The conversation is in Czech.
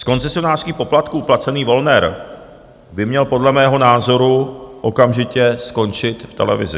Z koncesionářských poplatků placený Wollner by měl podle mého názoru okamžitě skončit v televizi.